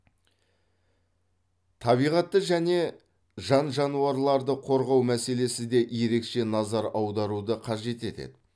табиғатты және жан жануарларды қорғау мәселесі де ерекше назар аударуды қажет етеді